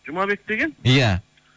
жұмабек деген иә